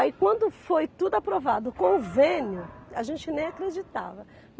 Aí quando foi tudo aprovado o convênio, a gente nem acreditava.